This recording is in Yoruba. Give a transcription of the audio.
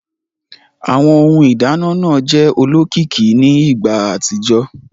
Awọn Ohun ìdáná náà jẹ olókìkí ní ìgbà àtijọ́